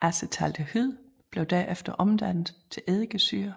Acetaldehyd bliver derefter omdannet til eddikesyre